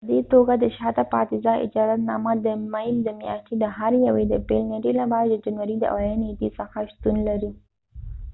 په دي توګه د شاته پاتی ځای اجازت نامه د مۍ د میاشتی د هر یوې د پیل نیټی لپاره د جنوری د اولی نیټی څخه شتون لري